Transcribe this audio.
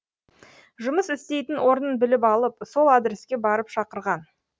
жұмыс істейтін орнын біліп алып сол адреске барып шақырған